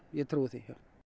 ég trúi því